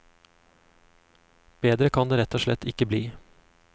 Bedre kan det rett og slett ikke bli.